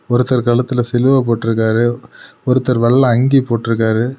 ஒருத்தர் கழுத்துல சிலுவ போட்டுருக்காரு ஒருத்தர் வெள்ள அங்கி போட்டுருக்காரு.